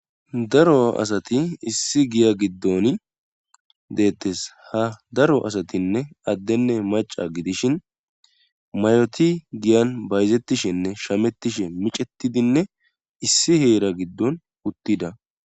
Daro asati issi giya giddon deettes ha daro asatinne addenne maca gidishin mayoti giyan bayzettishenne shamettishe micetidinne issi heera giddon uttida.